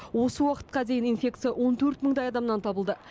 осы уақытқа дейін инфекция он төрт мыңдай адамнан табылды